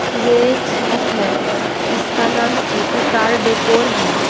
यह एक शॉप है इसका नाम सिटी कार डेकोर है।